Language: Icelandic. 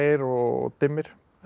og dimmir